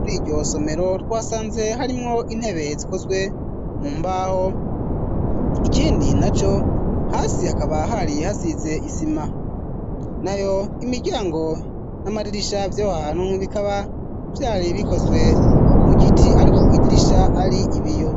Muri iryosomero twasanze harimwo intebe zikozwe mu mbaho ikindi na co hasi hakabahari hasize isima na yo imiryango n'amaririsha vyohanu bikaba vyari bikozwe mu giti, ariko kwyidirisha ari ibiyo.